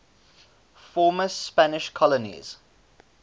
former spanish colonies